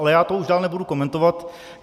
Ale já to už dál nebudu komentovat.